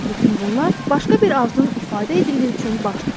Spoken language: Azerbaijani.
Bütün bunlar başqa bir arzunun ifadə edildiyi üçün baş tutdu.